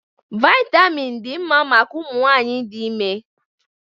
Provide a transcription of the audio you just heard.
Vitamin dị mma maka ụmụ nwanyị dị ime